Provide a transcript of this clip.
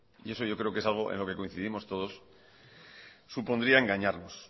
y eso yo creo que es algo en lo que coincidimos todos supondría engañarnos